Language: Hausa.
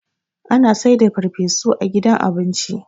ana saida farfesu a gida abinci